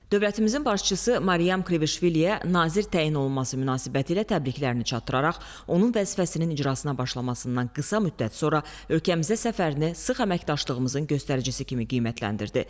Dövlətimizin başçısı Maryam Kvişviliyə nazir təyin olunması münasibətilə təbriklərini çatdıraraq, onun vəzifəsinin icrasına başlamasından qısa müddət sonra ölkəmizə səfərini sıx əməkdaşlığımızın göstəricisi kimi qiymətləndirdi.